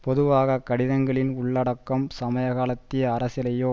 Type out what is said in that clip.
பொதுவாக கடிதங்களின் உள்ளடக்கம் சமகாலத்திய அரசியலையோ